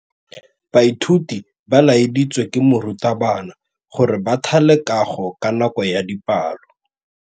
Baithuti ba laeditswe ke morutabana gore ba thale kagô ka nako ya dipalô.